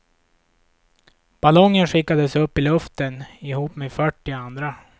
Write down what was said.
Ballongen skickades upp i luften ihop med fyrtio andra.